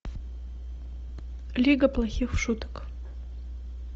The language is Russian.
лига плохих шуток